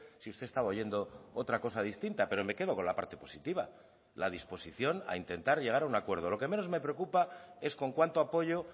si usted estaba oyendo otra cosa distinta pero me quedo con la parte positiva la disposición a intentar llegar a un acuerdo lo que menos me preocupa es con cuánto apoyo